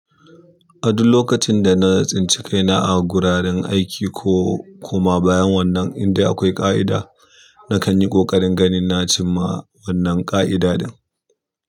A duk lokacin da na tsinci ka ina a guraren aiki ko koma bayan wannan indai akwai ƙa'ida, nakan yi ƙoƙarin ganin na cimma wannan ƙa'ida ɗin.